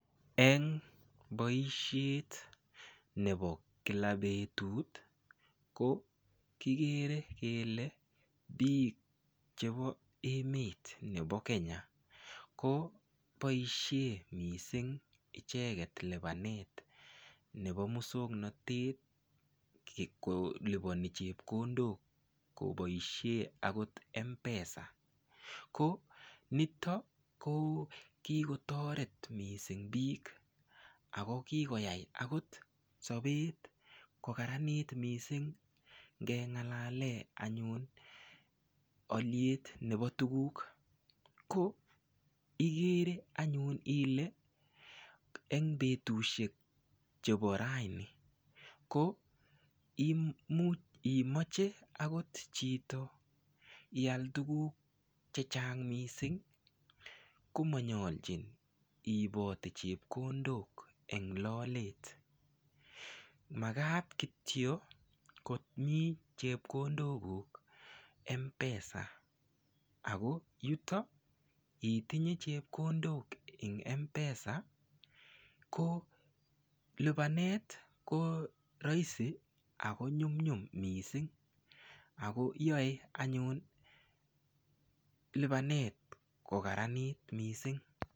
en boisheet nebo kila betuut ko kigere kele biik chebo emet nebo kenya ko boishen mising icheget libaneet nebo muswoknotet koliboni chepkondook koboishen agot Mpesa ko niton kigotoreet mising biik ago kigoyaai agot sobeet kogaraniit mising, ngengalalen anyuun olyeet nebo tuguuk ko igere anyun ile en betushek chebo raini ko imuch imoche agot chito iaal tuguuk chechang mising komonyolcin iibote chepkondook en lolet, magaat kityo komii chepkondook guuk Mpesa, ago yuto itinye chepkondook en mpesa ko libaneet ko roisi ago nyumnyum mising ago yoe anyuun libaneet kogaraniiit mising.